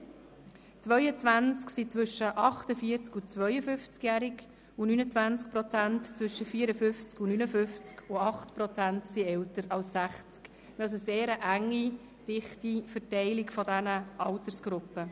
22 Prozent sind zwischen 48 und 52-jährig, 29 Prozent zwischen 54 und 59 Jahren, und 8 Prozent sind älter als 60 Jahre – also eine sehr dichte Verteilung der Altersgruppen.